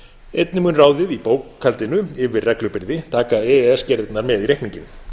einnig mun ráðið í bókhaldinu yfir reglubyrði taka e e s gerðirnar með í reikninginn